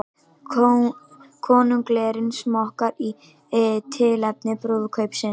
Konunglegir smokkar í tilefni brúðkaupsins